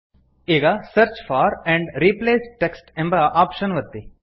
ಈಗ search for and replace text ಎಂಬ option ಒತ್ತಿ